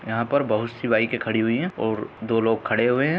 यहां पर बहोत सी बाइके खड़ी हुई है और दो लोग खड़े हुए है।